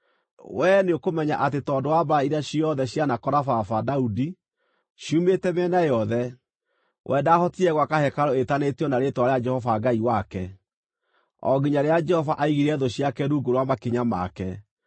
“Wee nĩũkũmenya atĩ tondũ wa mbaara iria ciothe cianakora baba, Daudi, ciumĩte mĩena yothe, we ndaahotire gwaka hekarũ ĩĩtanĩtio na Rĩĩtwa rĩa Jehova Ngai wake, o nginya rĩrĩa Jehova aigire thũ ciake rungu rwa makinya make.